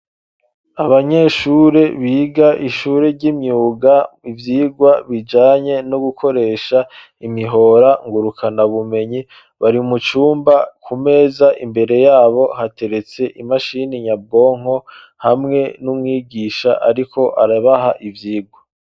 Abanyeshure, biga ishure ry'imyuga, ivyigwa bijanye no gukoresha imihora ngurukanabumenyi, bari mu cumba, ku meza, imbere yabo, hateretse imashini nyabwonko, hamwe n'umwigisha ariko arabaha ivyigwa.